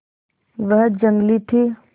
वह जंगली थी